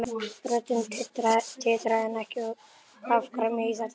Röddin titraði en ekki af gremju í þetta sinn.